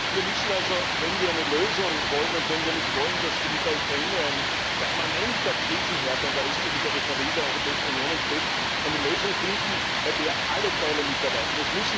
Wir müssen also, wenn wir eine Lösung wollen und wenn wir nicht wollen, dass mit der Ukraine ein permanenter Krisenherd an der östlichen Peripherie der Europäischen Union entsteht, eine Lösung finden, bei der alle Teile mitarbeiten.